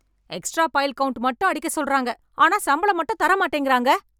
Extra file count மட்டும் அடிக்க சொல்றாங்க ஆனா சம்பளம் மட்டும் தர மாட்டேங்குறாங்க.